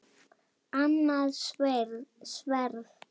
Annað sverð.